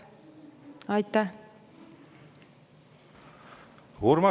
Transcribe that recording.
Urmas Reinsalu, palun!